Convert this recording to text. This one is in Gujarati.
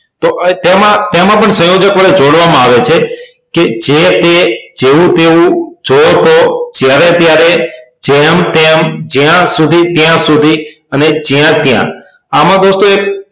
તો તેમાં તેમાં પણ સંયોજક વડે જોડવામાં આવે છે કે જે તે જેવું તેવું જો તો જ્યારે ત્યારે જેમ તેમ જયા સુધી ત્યાં સુધી અને જયા ત્યાં આમાં દોસ્તો એક